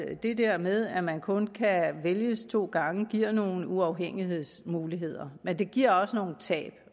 at det der med at man kun kan vælges to gange giver nogle uafhængighedsmuligheder men det giver også nogle tab